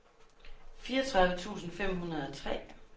fireogtredive tusind fem hundrede og tre